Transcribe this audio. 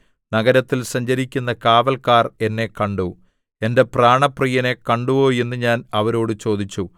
നഗരത്തിൽ സഞ്ചരിക്കുന്ന കാവല്ക്കാർ എന്നെ കണ്ടു എന്റെ പ്രാണപ്രിയനെ കണ്ടുവോ എന്ന് ഞാൻ അവരോട് ചോദിച്ചു